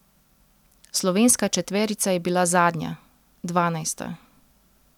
Slovenska četverica je bila zadnja, dvanajsta.